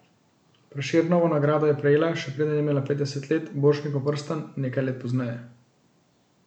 Prešernovo nagrado je prejela, še preden je imela petdeset let, Borštnikov prstan nekaj let pozneje.